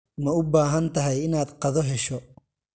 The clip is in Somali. Ma u baahan tahay inaad qado hesho?